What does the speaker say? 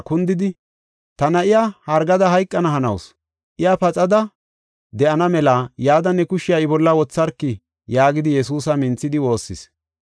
kundidi, “Ta na7iya hargada hayqana hanawusu. Iya paxada de7ana mela yada ne kushiya I bolla wotharki” yaagidi Yesuusa minthidi woossis.